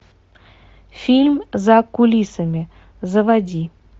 фильм за кулисами заводи